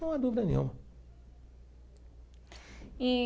Não há dúvida nenhuma. E.